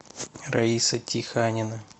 раиса тиханина